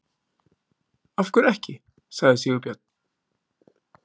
Af hverju ekki? sagði Sigurbjörn.